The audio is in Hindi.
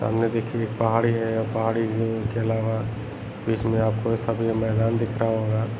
सामने देखिये एक पहाड़ी है पहाड़ी हू के अलावा इसमें आपको सामने मैदान दिख रहा होगा।